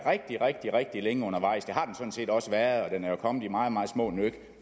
rigtig rigtig længe undervejs det har den sådan set også været og den er jo kommet i meget meget små nyk